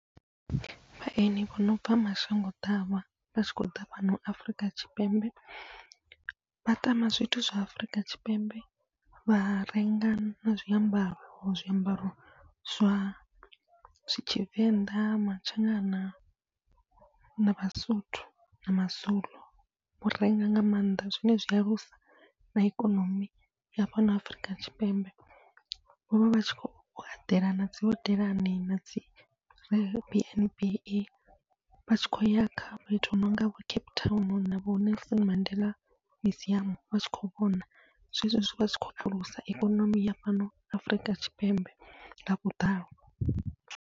Vhahaeni vho nobva mashango ḓavha vhatshi khou ḓa fhano Afurika Tshipembe vha tama zwithu zwa Afrika Tshipembe, vha renga na zwiambaro zwiambaro zwa Tshivenḓa, Matshangana na vhaSotho na maZulu vha renga nga maanḓa, zwi alusa na ikonomi ya fhano Afrika Tshipembe. Vhovha vhatshi khou eḓela nadzi hodelani nadzi B_N_B vhatshi khou ya kha fhethu hu nonga vho Cape Town, vho Nelson Mandela museum vhatshi khou vhona, zwezwi zwine zwavha zwi tshi khou alusa ikonomi ya fhano Afurika Tshipembe nga vhuḓalo.